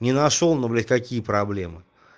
не нашёл но блять какие проблемы